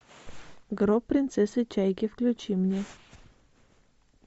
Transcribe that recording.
гроб принцессы чайки включи мне